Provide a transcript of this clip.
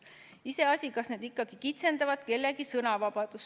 Iseasi, kas need ikkagi kitsendavad kellegi sõnavabadust.